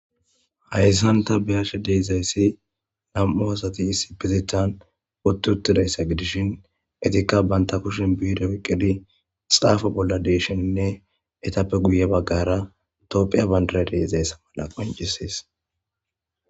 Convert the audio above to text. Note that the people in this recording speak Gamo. Hayssanta biyashe deezayssi nam'u asati issi bizethan wotuutidayssa gidishin etikka banta kushin biido wiqqidi xaafa bolla deeshoninne etappe guye baggara topphiya bandara deezayssa mala qoncisees.